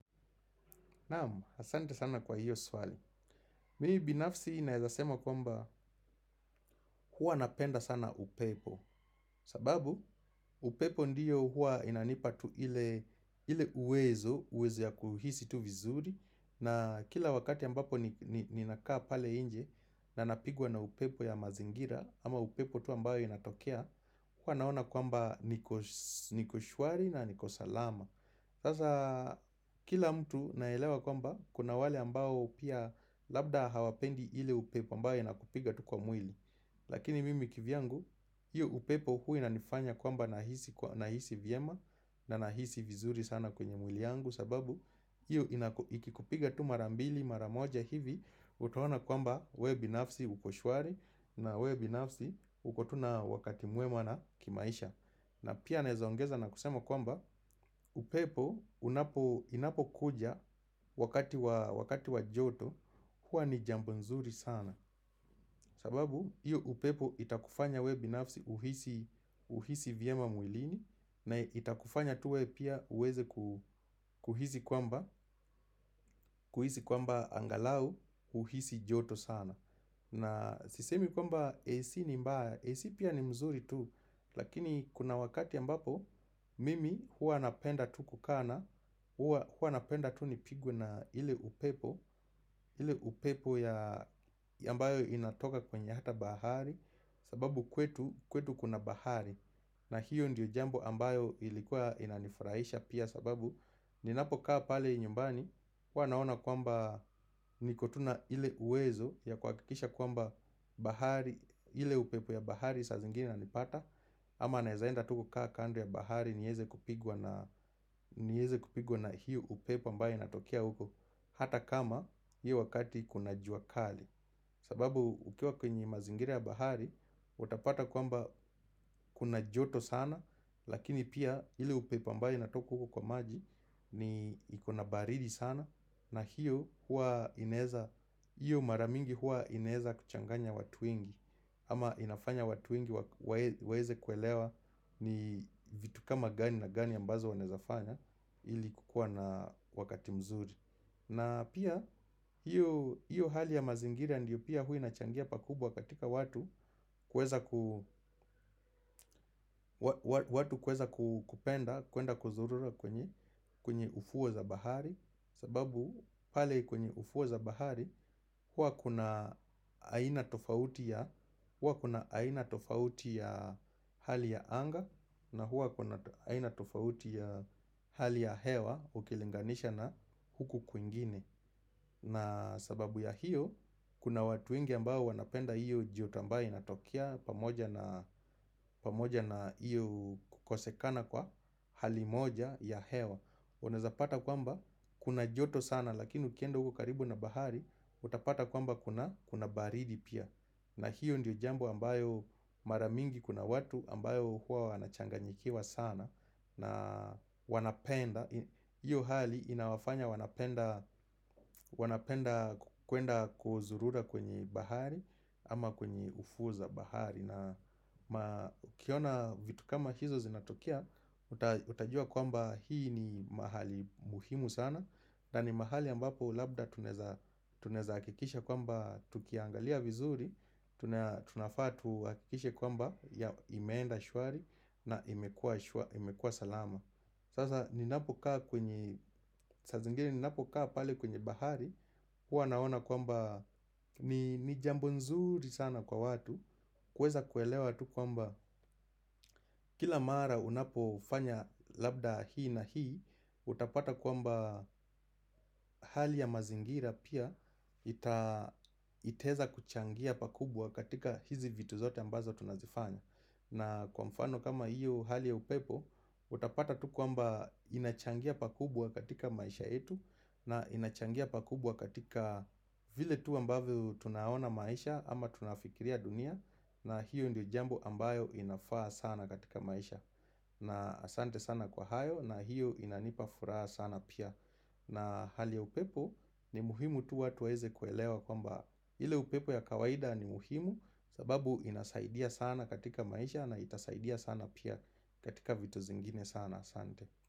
Naam, asante sana kwa hiyo swali. Mi binafsi naezasema kwamba huwa napenda sana upepo. Sababu, upepo ndiyo huwa inanipa tu ile uwezo, uwezo ya kuhisi tu vizuri. Na kila wakati ambapo ninakaa pale inje na napigwa na upepo ya mazingira, ama upepo tu ambayo inatokea, huwa naona kwamba niko shwari na niko salama. Sasa kila mtu naelewa kwamba kuna wale ambao pia labda hawapendi ile upepo ambayo inakupiga tu kwa mwili Lakini mimi kivyangu, hio upepo hua inanifanya kwamba nahisi vyema na nahisi vizuri sana kwenye mwili yangu sababu, hio ikikupiga tu mara mbili mara moja hivi utaona kwamba wewe binafsi uko shwari na wewe binafsi uko tu na wakati mwema na kimaisha na pia naeza ongeza na kusema kwamba upepo inapo kuja wakati wa joto hua ni jambo nzuri sana sababu iyo upepo itakufanya wewe binafsi uhisi vyema mwilini na itakufanya tuwe pia uweze kuhisi kwamba angalau uhisi joto sana na sisemi kwamba AC ni mbaya, AC pia ni mzuri tu, lakini kuna wakati ambapo mimi hua napenda tu kukaa na hua napenda tu nipigwe na ile upepo, ile upepo ya ambayo inatoka kwenye hata bahari, sababu kwetu kwetu kuna bahari na hiyo ndiyo jambo ambayo ilikuwa inanifurahisha pia sababu Ninapo kaa pale nyumbani huwa naona kwamba niko tu na ile uwezo ya kwakikisha kwamba bahari ile upepo ya bahari saa zingine inanipata Ama naeza enda tu kukaa kando ya bahari nieze kupigwa na hiyo upepo ambayo inatokea huko Hata kama hiyo wakati kuna jua kali sababu ukiwa kwenye mazingira ya bahari Utapata kwamba kuna joto sana Lakini pia ile upepo ambayo inatoka huko kwa maji ni ikona baridi sana na hiyo hua inaeza hiyo mara mingi hua inaeza kuchanganya watu wengi Ama inafanya watu wengi waeze kuelewa ni vitu kama gani na gani ambazo wanaezafanya ili kukua na wakati mzuri na pia hiyo hali ya mazingira ndio pia hua inachangia pakubwa katika watu watu kweza kupenda, kuenda kuzurura kwenye ufuo za bahari sababu pale kwenye ufuo za bahari huwa kuna aina tofauti ya hali ya anga na huwa kuna aina tofauti ya hali ya hewa Ukilinganisha na huku kuingine na sababu ya hiyo Kuna watu wengi ambao wanapenda hiyo joto ambayo inatokea pamoja na iyo kukosekana kwa hali moja ya hewa Unaeza pata kwamba kuna joto sana lakini ukienda uko karibu na bahari utapata kwamba kuna baridi pia na hiyo ndiyo jambo ambayo mara mingi kuna watu ambayo huwa wanachanganyikiwa sana na wanapenda Iyo hali inawafanya wanapenda kuenda kuzurura kwenye bahari Ama kwenye ufuo za bahari na kiona vitu kama hizo zinatokea Utajua kwamba hii ni mahali muhimu sana na ni mahali ambapo labda tunaeza akikisha kwamba tukiangalia vizuri tunafaa tuakikishe kwamba ya imeenda shwari na imekua salama Sasa ninapokaa kwenye saa zingine ninapokaa pale kwenye bahari hua naona kwamba ni jambo nzuri sana kwa watu kuweza kuelewa tu kwamba kila mara unapo fanya labda hii na hii Utapata kwamba hali ya mazingira pia itaeza kuchangia pakubwa katika hizi vitu zote ambazo tunazifanya na kwa mfano kama hiyo hali ya upepo utapata tu kwamba inachangia pakubwa katika maisha yetu na inachangia pakubwa katika vile tu ambavyo tunaona maisha ama tunafikiria dunia na hiyo ndio jambo ambayo inafaa sana katika maisha na asante sana kwa hayo na hiyo inanipa furaa sana pia na hali ya upepo ni muhimu tu watu waeze kuelewa kwamba ile upepo ya kawaida ni muhimu sababu inasaidia sana katika maisha na itasaidia sana pia katika vitu zingine sana asante.